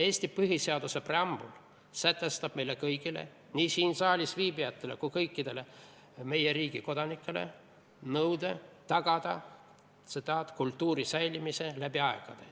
Eesti põhiseaduse preambul sätestab meile kõigile – nii siin saalis viibijatele kui ka kõikidele muudele meie riigi kodanikele – nõude tagada kultuuri säilimine läbi aegade.